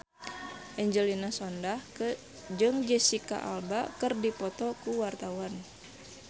Angelina Sondakh jeung Jesicca Alba keur dipoto ku wartawan